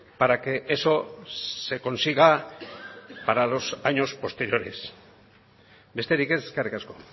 para que eso se consiga para los años posteriores besterik ez eskerrik asko